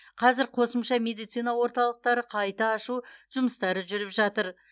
қазір қосымша медицина орталықтары қайта ашу жұмыстары жүріп жатыр